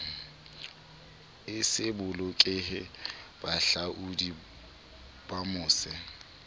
e se bolokehe bahahlaodi bamose